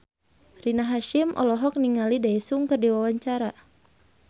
Rina Hasyim olohok ningali Daesung keur diwawancara